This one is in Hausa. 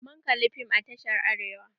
Mun kali fim a tashar Arewa.